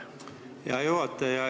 Hea juhataja!